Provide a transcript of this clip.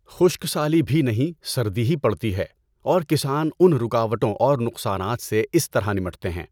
خشک سالی بھی نہیں سردی ہی پڑتی ہے اور کسان ان رکاوٹوں اور نقصانات سے اس طرح نمٹتے ہیں۔